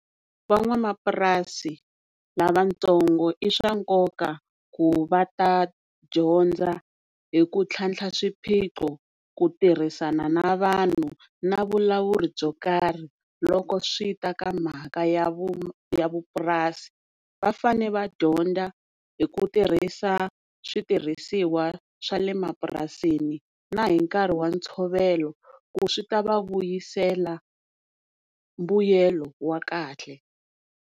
Van'wamapurasi lavatsongo i swa nkoka ku va ta dyondza hi ku tlhantlha swiphiqo ku tirhisana na vanhu na vulawuri byo karhi loko swi ta ka mhaka ya vu vupurasi. Vafane va dyondza hi ku tirhisa switirhisiwa swa le mapurasini na hi nkarhi wa ntshovelo ku swi ta va vuyisela mbuyelo wa kahle.